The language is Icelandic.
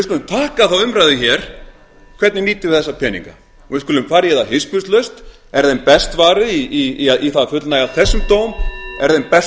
pakka þá umræðu hér hvernig nýtum við þessa peninga við skulum fara í það hispurslaust er þeim best varið í það að fullnægja þessum dóm er þeim best